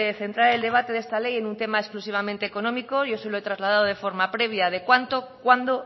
centrar el debate de esta ley en un tema exclusivamente económico yo se lo he trasladado de forma previa de cuánto cuándo